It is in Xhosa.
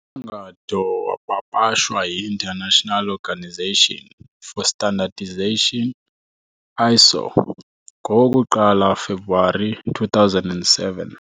Umgangatho wapapashwa yi-International Organisation for Standardization, ISO, ngo-1 February 2007.